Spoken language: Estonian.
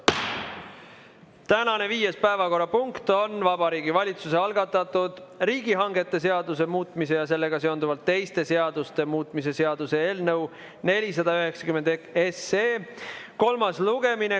Tänane viies päevakorrapunkt on Vabariigi Valitsuse algatatud riigihangete seaduse muutmise ja sellega seonduvalt teiste seaduste muutmise seaduse eelnõu 491 kolmas lugemine.